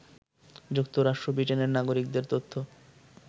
যুক্তরাষ্ট্র ব্রিটেনের নাগরিকদের তথ্য